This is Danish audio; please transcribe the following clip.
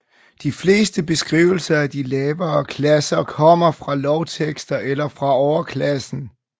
De fleste beskrivelser af de lavere klasser kommer fra lovtekster eller fra overklassen